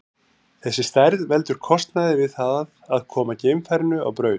Þessi stærð veldur kostnaði við það að koma geimfarinu á braut.